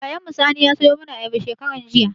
Yayan mu Sani ya sayo mana ayaba shekaran jiya